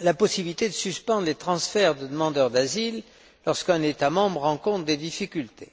la possibilité de suspendre les transferts de demandeurs d'asile lorsqu'un État membre rencontre des difficultés.